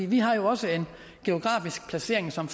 vi har også en geografisk placering som